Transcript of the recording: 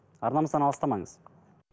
арнамыздан алыстамаңыз